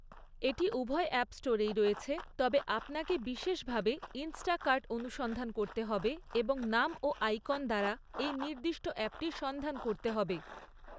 এটি উভয় অ্যাপ স্টোরেই রয়েছে, তবে আপনাকে বিশেষভাবে ইন্সটাকার্ট অনুসন্ধান করতে হবে এবং নাম ও আইকন দ্বারা এই নির্দিষ্ট অ্যাপটি সন্ধান করতে হবে৷